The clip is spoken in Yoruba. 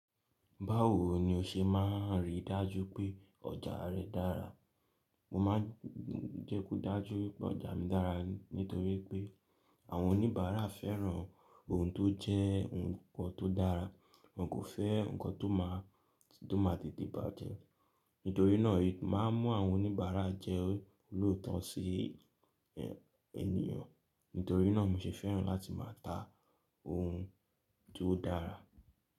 Báwo ni o ṣe máa ń rí dájú pé ọjà rẹ dára? Mo máa ń jẹ́ kó dájú pé ọjà mi dára nítorí pé àwọn oníbàárà fẹ́ràn ohun tó jẹ́ ohun tó dára. Wọn kò fẹ́ nǹkan tó máa, tó máa di ìdí bàjẹ́. Nítorí náà, màá mú àwọn oníbàárà jẹ́ olóòótọ́ sí ènìyàn. Nítorí náà mo ṣe fẹ́ràn láti máa ta ohun tó dára.